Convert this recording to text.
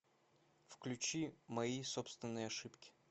включи мои собственные ошибки